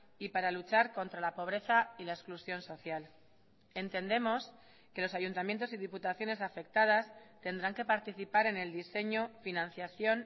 y para luchar contra la pobreza y la exclusión social entendemos que los ayuntamientos y diputaciones afectadas tendrán que participar en el diseño financiación